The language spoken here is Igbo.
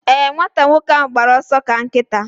Ee, nwata nwoke ahụ gbara ọsọ ka nkịta